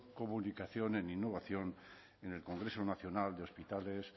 comunicación en innovación en el congreso nacional de hospitales